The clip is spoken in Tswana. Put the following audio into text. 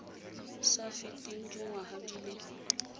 sa feteng dingwaga di le